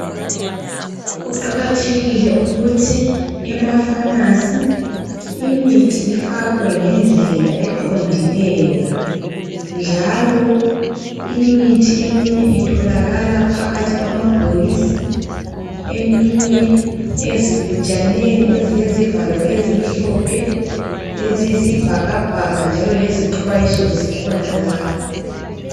Kuqakathekile ukuthi emapharmacy imithi ifakwe ngendlela eqondileyo, njalo imithi eminye itholakala phakathi kwanabhokisi. Eminye ezigujaneni, ezilezivalo ezimhlophe, eziyisibhakabhaka, njalo lezixwayiso zikhona lapho.